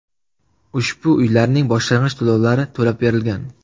Ushbu uylarning boshlang‘ich to‘lovlari to‘lab berilgan.